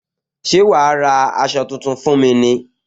Ṣé wá ra aṣọ tuntun fún mi ní